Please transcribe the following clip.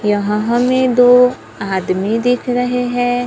यहां हमें दो आदमी दिख रहे है।